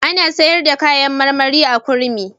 Ana sayar da kayan marmari a Kurmi.